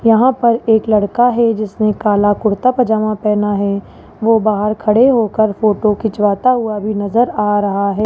यहां पर एक लड़का है जिसने काला कुर्ता पजामा पहना है वो बाहर खड़े होकर फोटो खिंचवाता हुआ भी नजर आ रहा है।